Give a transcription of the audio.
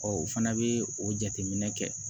o fana bɛ o jateminɛ kɛ